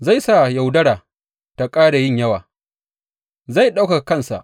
Zai sa yaudara ta ƙara yin yawa, zai ɗaukaka kansa.